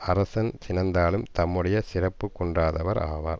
அரசன் சினந்தாலும் தம்முடைய சிறப்பு குன்றாதவர் ஆவர்